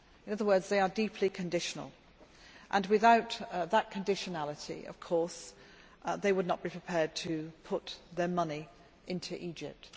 In other words, they are deeply conditional. Without that conditionality, of course, they would not be prepared to put their money into Egypt.